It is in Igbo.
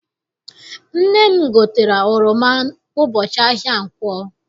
Nne m gotere oroma ụbọchị ahịa nkwọ.